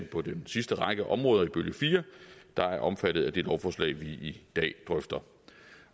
på den sidste række områder i bølge fire der er omfattet af det lovforslag vi drøfter i dag